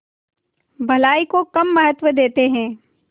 भलाई को कम महत्व देते हैं